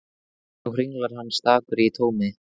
Nú hringlar hann stakur í tómi.